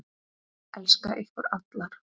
Elska ykkur allar.